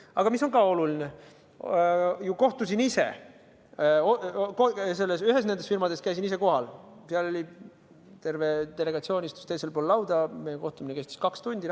Aga mis on ka oluline, ma kohtusin ise nendega, ühes nendest firmadest käisin ise kohal, seal istus terve delegatsioon teisel pool lauda, meie kohtumine kestis kaks tundi.